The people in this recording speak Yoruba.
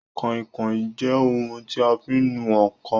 Kàinkàin jẹ́ ohun tí a fi ń nu ǹkan